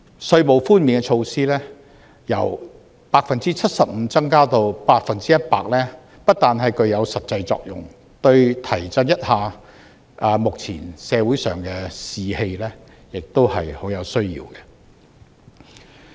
稅務寬免的措施由 75% 提升至 100%， 不但具有實際作用，對提振目前社會上的士氣也是很有需要的。